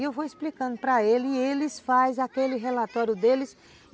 E eu vou explicando para ele e eles fazem aquele relatório deles.